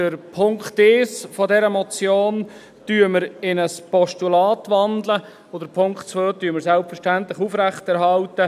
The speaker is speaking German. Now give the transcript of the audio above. Den Punkt 1 dieser Motion wandeln wir in ein Postulat, und Punkt 2 halten wir selbstverständlich aufrecht.